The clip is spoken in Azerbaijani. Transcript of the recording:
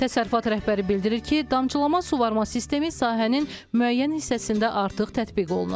Təsərrüfat rəhbəri bildirir ki, damcılama suvarma sistemi sahənin müəyyən hissəsində artıq tətbiq olunur.